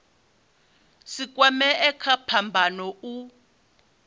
si kwamee kha phambano u